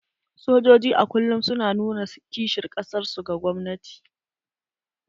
Sojoji a kullum su na nuna kishin kasar su ga gwamnati.